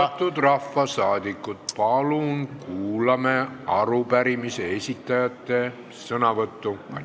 Austatud rahvasaadikud, palun kuulame arupärimise esitajate sõnavõttu!